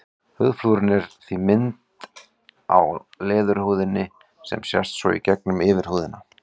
Húðflúrið er því mynd á leðurhúðinni sem sést svo í gegnum yfirhúðina.